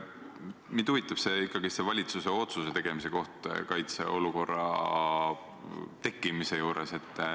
Mind huvitab ikkagi see valitsuse otsuse tegemine, et kaitseolukord on tekkinud.